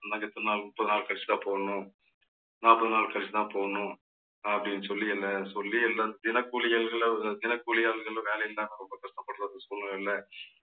முப்பது நாள் கழிச்சுதான் போடணும். நாற்பது நாள் கழிச்சுதான் போடணும். அப்படின்னு சொல்லி என்னை சொல்லி எல்லாம் தினக்கூலி ஆள்கள்கள் ஒரு தினக்கூலி ஆள்கள் வேலையில்லாம ரொம்ப கஷ்டப்படுற சூழ்நிலையில